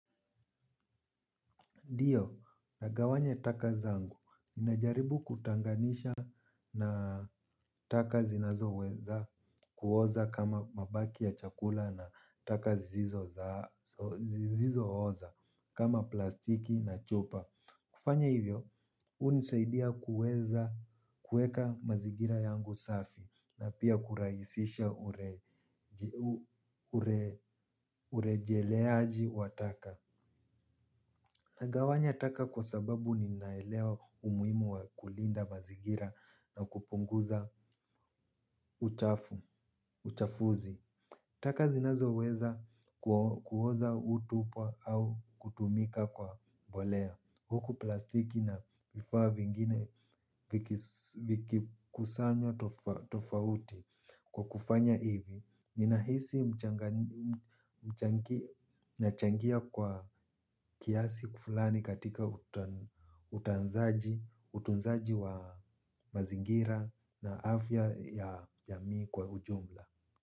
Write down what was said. Ndio, nagawanya taka zangu, ninajaribu kutanganisha na taka zinazoweza kuoza kama mabaki ya chakula na taka zisizooza kama plastiki na chupa. Kufanya hivyo, hunisaidia kuweza kuweka mazingira yangu safi na pia kurahisisha urejeleaji wa taka. Nagawanya taka kwa sababu ninaelewa umuhimu wa kulinda mazingira na kupunguza uchafuzi. Taka zinazoweza kuoza hutupa au kutumika kwa mbolea. Huku plastiki na vifaa vingine vikikusanywa tofauti. Kwa kufanya hivi ninahisi nachangia kwa kiasi fulani katika utunzaji wa mazingira na afya ya jamii kwa ujumla.